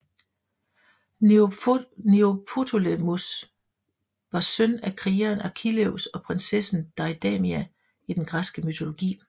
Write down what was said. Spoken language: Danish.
Neoptolemos var søn af krigeren Achilleus og prinsessen Deidamia i den græske mytologi